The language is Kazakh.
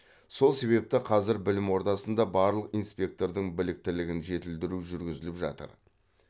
сол себепті қазір білім ордасында барлық инспектордың біліктілігін жетілдіру жүргізіліп жатыр